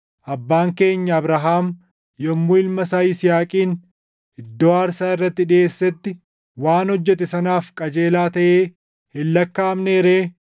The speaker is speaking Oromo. Abbaan keenya Abrahaam yommuu ilma isaa Yisihaaqin iddoo aarsaa irratti dhiʼeessetti waan hojjete sanaaf qajeelaa taʼee hin lakkaaʼamnee ree?